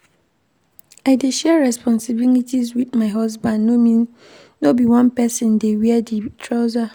I dey share responsibilities wit my husband no be one pesin dey wear di trouser.